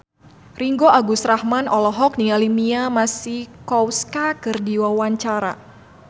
Ringgo Agus Rahman olohok ningali Mia Masikowska keur diwawancara